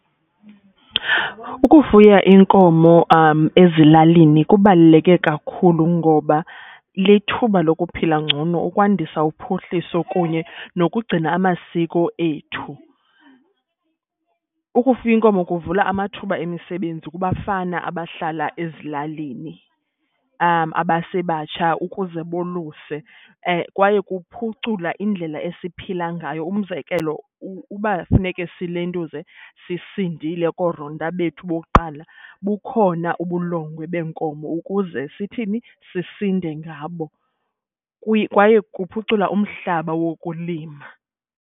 Ukufuya inkomo ezilalini kubaluleke kakhulu ngoba lithuba lokuphila ngcono, ukwandisa uphuhliso kunye nokugcina amasiko ethu. Ukufuya inkomo kuvula amathuba emisebenzi kubafana abahlala ezilalini abasebatsha ukuze boluse kwaye kuphucula indlela esiphila ngayo. Umzekelo, uba funeke silentuze sisindile koronta bethu bokuqala bukhona ubulongwe beenkomo ukuze sithini, sisinde ngabo. Kwaye kuphucula umhlaba wokulima.